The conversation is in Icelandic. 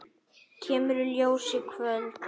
Kemur í ljós í kvöld.